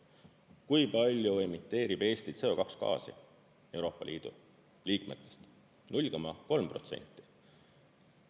Kui palju emiteerib Eesti CO2 gaasi Euroopa Liidu liikmetest: 0,3%.